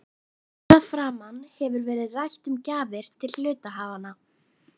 Hér að framan hefur verið rætt um gjafir til hluthafanna.